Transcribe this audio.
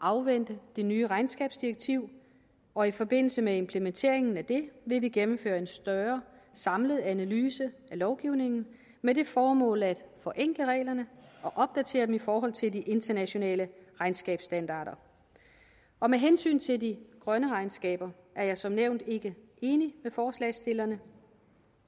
afvente det nye regnskabsdirektiv og i forbindelse med implementeringen af det vil vi gennemføre en større samlet analyse af lovgivningen med det formål at forenkle reglerne og opdatere dem i forhold til de internationale regnskabsstandarder og med hensyn til de grønne regnskaber er jeg som nævnt ikke enig med forslagsstillerne